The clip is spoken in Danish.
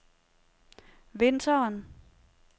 vinteren